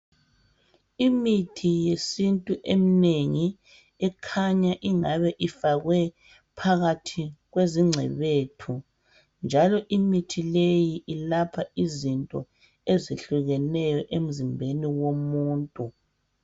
Imithi yesiNtu eminengi ekhanya ingabe ifakwe phakathi kwezingcebethu njalo imithi leyi ilapha izinto ezihlukeneyo emzimbeni womuntu.